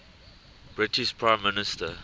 british prime minister